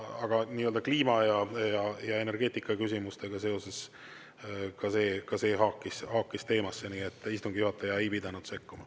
Aga kliima‑ ja energeetikaküsimustega seoses haakis ka see teemasse, nii et istungi juhataja ei pidanud sekkuma.